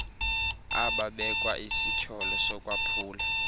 ababekwa isityholo sokwaphula